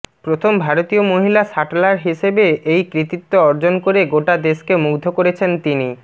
প্রথম ভারতীয় মহিলা শাটলার হিসেবে এই কৃতিত্ব অর্জন করে গোটা দেশকে মুগ্ধ করেছেন তিনি